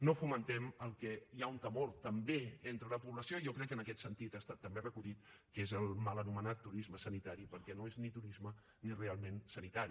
no fomentem el que hi ha un temor també entre la població i jo crec que en aquest sentit ha estat també recollit que és el mal anomenat turisme sanitari perquè no és ni turisme ni realment sanitari